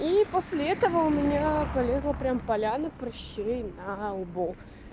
и после этого у меня полезла прямо поляна прыщей на лбу